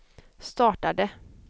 startade